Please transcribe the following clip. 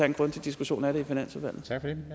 en grundig diskussion af det i finansudvalget